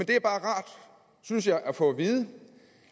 det er bare rart synes jeg at få at vide